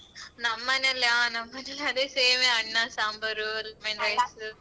ನಮ್ಮನೇಲ ನಮ್ಮನೇಲು ಅದೇ same ಎ ಅನ್ನ ಸಾಂಬಾರು